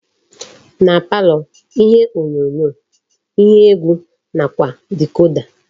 Na palọ ihe onyonyo, ihe egwu nakwa dicoda.